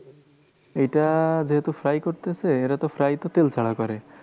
এইটা যেহেতু fry করতেছে, এরাতো fry তো তেল ছাড়া করে।